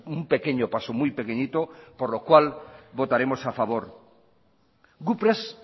un pequeño paso muy pequeñito por lo cual votaremos a favor gu prest